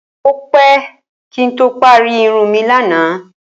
Ó pé̩ kí n tó parí irun mi lánàá